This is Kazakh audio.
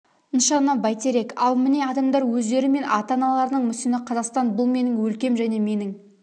нышаны бәйтерек ал міне адамдар өздері мен ата-аналарының мүсіні қазақстан бұл менің өлкем және менің